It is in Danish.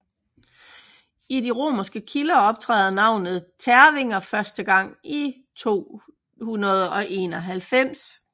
I de romerske kilder optræder navnet tervinger første gang i 291